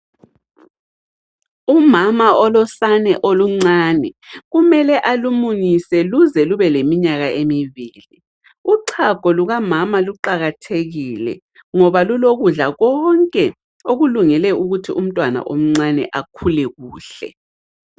Umama olosane oluncane, kumele alumunyise luze lube leminyaka emibili. Uchago luka mama luqakathekile ngoba lulo kudla konke okulungele ukuthi umtwana omcane akhule kuhle.